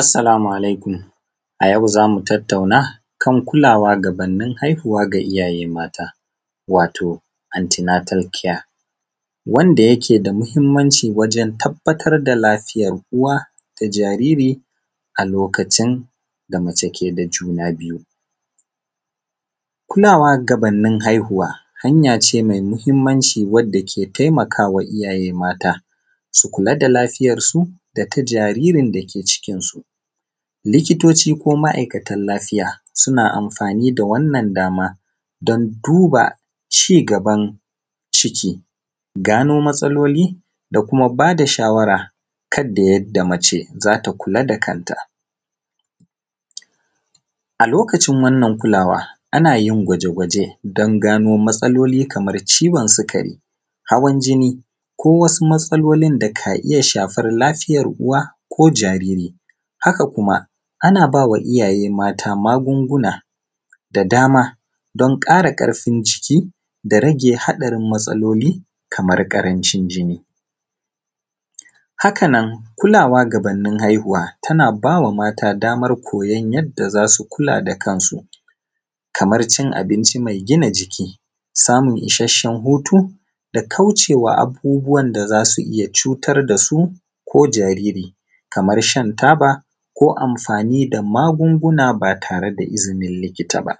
Assalamu alaikum a yau zamu tattauna kan kulawa gabanin haihuwa ga iyaye mata, wato (anti natal kiya) wanda yake da mahimmanci wajen tabbatar da lafiyar uwa da jariri a lokacin da mace ke da juna biyu. Kulawa gabanni haihuwa hanya ce mai muhimmanci wadda ke taimakawa iyaye mata, su kula da lafiyarsu data jaririn dake cikinsu. Likitoci ko ma’aikatan lafiya suna amfani da wannan dama don duba ci gaban ciki, gano matsaloli da kuma bada shawara yadda mace zata kula da kanta. A lokacin wannan kulawa ana yin gwaje-gwaje don gano matsaloli kaman ciwon sukari, hawan jini, ko wasu matsalolin da ka iya shafan lafiyar uwa ko jariri, haka kuma ana bawa iyaye mata magunguna da dama don ƙara ƙarfin jiki da rage haɗarin matsaloli, kamar karancin jinni. Haka nan kulawa gabanni haihuwa tana bawa mata damar koyon yadda za su kula da kansu, kamar cin abinci mai gina jiki, samun isashen hutu da kaucewa abubuwan da za su iya cutar dasu ko jariri, kaman shan taba, ko amfani da magunguna ba tare da izinin likita ba.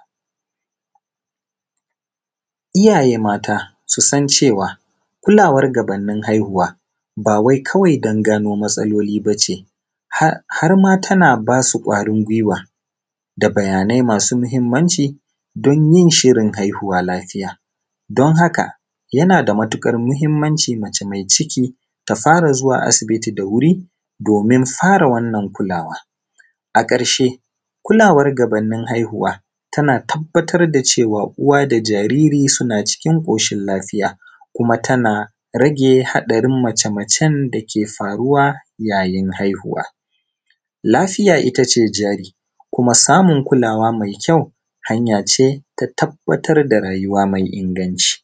Iyaye mata su san cewa, kulawa gabanni haihuwa ba wai kawai don gano matsaloli bace har ma tana basu ƙwarin gwiwa, da bayanai masu mahimmanci, don yin shirin haihuwa lafiya. Don haka yana da matuƙar mahimmanci mace mai ciki ta fara zuwa asibiti da wuri, domin fara wannan kulawa. A ƙarshe kulawar gabanni haihuwa tana tabbatar da cewa uwa da jariri suna cikin ƙoshin lafiya, kuma tana rage haɗarin mace-macen da ke faruwa yayin haihuwa. Lafiya ita ce jari, kuma samun kuwala mai kyau, hanyace ta tabbatar da rayuwa mai inganci.